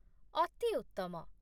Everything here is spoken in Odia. ଅତି ଉତ୍ତମ!